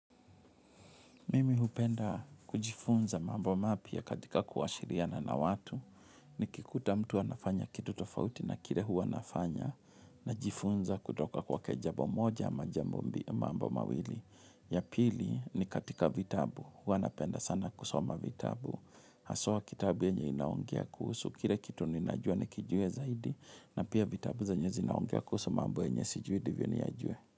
Mimi hupenda kujifunza mambo mapya katika kuashiriana na watu. Nikikuta mtu anafanya kitu tofauti na kile huwa nafanya. Najifunza kutoka kwake jambo moja ama jambo mambo mawili. Ya pili ni katika vitabu. Huwa npenda sana kusoma vitabu. Haswa kitabu yenye inaongea kuhusu kile kitu ninajua nikijue zaidi. Na pia vitabu zenye zinaongea kuhusu mambo yenye sijui ndivyo niyajue.